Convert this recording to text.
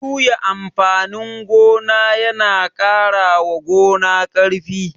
Juya amfanin gona ya na ƙarawa gona ƙarfi